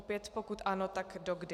Opět pokud ano, tak do kdy.